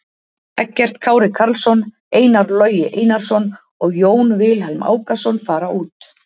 Eggert Kári Karlsson, Einar Logi Einarsson og Jón Vilhelm Ákason fara út.